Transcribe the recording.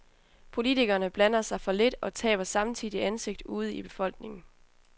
Politikerne blander sig for lidt og taber samtidig ansigt ude i befolkningen.